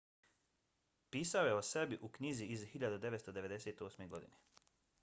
pisao je o sebi u knjizi iz 1998. godine